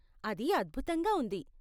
అది అద్భుతంగా ఉంది.